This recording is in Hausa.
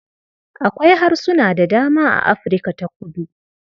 Akwai harsuna da dama a Afirka ta kudu.